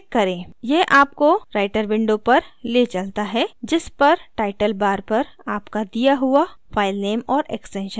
यह आपको writer window पर ले चलता है जिस पर टाइटल bar पर आपका दिया हुआ filename और extension होगा